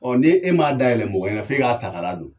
ni e m'a dayɛlɛ mɔgɔ ɲɛnɛ f'e k'a ta k'a ladon